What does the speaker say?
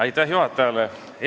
Aitäh juhatajale!